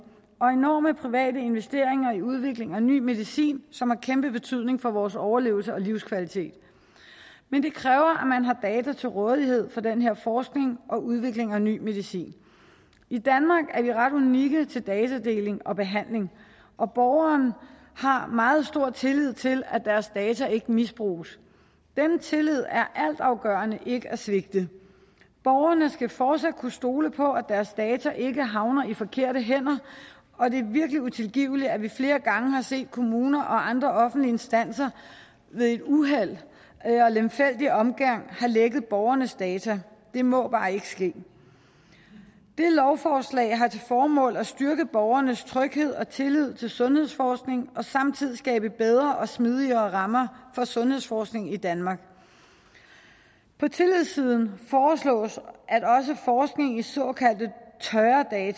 og enorme private investeringer i udvikling af ny medicin som har kæmpe betydning for vores overlevelse og livskvalitet men det kræver at til rådighed for den her forskning og udvikling af ny medicin i danmark er vi ret unikke til datadeling og behandling og borgerne har meget stor tillid til at deres data ikke misbruges denne tillid er altafgørende ikke at svigte borgerne skal fortsat kunne stole på at deres data ikke havner i forkerte hænder og det er virkelig utilgiveligt at vi flere gange har set at kommuner og andre offentlige instanser ved uheld og lemfældig omgang har lækket borgernes data det må bare ikke ske det her lovforslag har til formål at styrke borgernes tryghed og tillid til sundhedsforskning og samtidig skabe bedre og smidigere rammer for sundhedsforskning i danmark på tillidssiden foreslås at også forskning i såkaldte